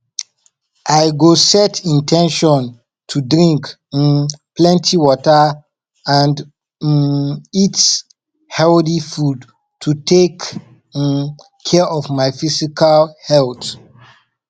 i go set in ten tion to drink um plenty water and um eat healthy food to take um care of my physical health